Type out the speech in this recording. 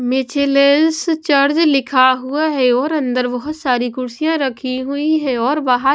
मिचलेस church लिखा हुआ है और अंदर बहुत सारी कुर्सियां रखी हुई है और बाहर--